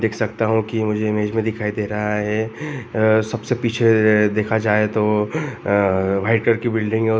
देख सकता हूँ कि मुझे इमेज में दिखाई दे रहा हैं आ-सबसे पीछे आ देखा जाए तो आ वाइट कलर की बिल्डिंग हैं।